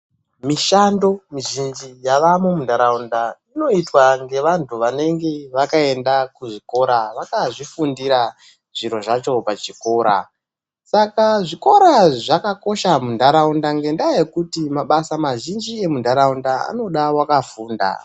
Mishando mizhinji yavamo munharaunda inoitwa ngevantu vakaenda kuzvikora vakazvifundira zviro zvacho vachikura Saka zvikora zvakakosha munharaunda ngekuti mabasa mazhinji emunharaunda anoda wakafunda.